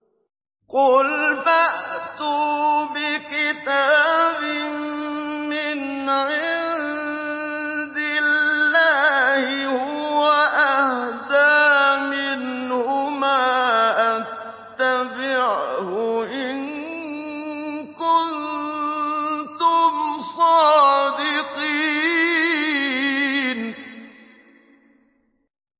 قُلْ فَأْتُوا بِكِتَابٍ مِّنْ عِندِ اللَّهِ هُوَ أَهْدَىٰ مِنْهُمَا أَتَّبِعْهُ إِن كُنتُمْ صَادِقِينَ